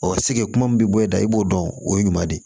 Ɔ seke kuma min bɛ bɔ e da i b'o dɔn o ye ɲuman de ye